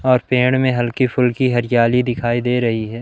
और पेड़ में हल्की फुल्की हरियाली दिखाई दे रही हैं।